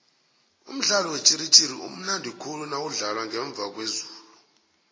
umdlalo wetjhiritjhiri umnandikhulu nawudlalwa ngemza kwezulu